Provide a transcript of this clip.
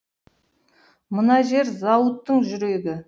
мына жер зауыттың жүрегі